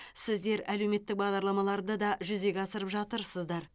сіздер әлеуметтік бағдарламаларды да жүзеге асырып жатырсыздар